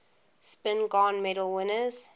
spingarn medal winners